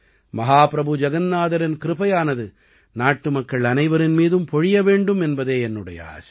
மஹாபிரபு ஜகன்னாதரின் கிருபையானது நாட்டுமக்கள் அனைவரின் மீதும் பொழிய வேண்டும் என்பதே என்னுடைய ஆசை